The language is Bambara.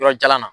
Yɔrɔ jalan na